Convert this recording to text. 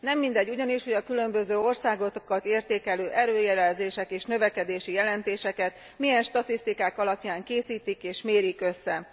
Nem mindegy ugyanis, hogy a különböző országokat értékelő előrejelzéseket és növekedési jelentéseket milyen statisztikák alapján készítik és mérik össze.